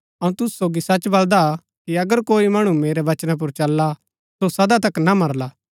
अऊँ तूसु सोगी सच बलदा कि अगर कोई मणु मेरै वचना पुर चलला सो सदा तक ना मरला